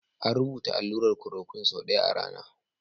An rubuta allurar chloroquine sau ɗaya a rana.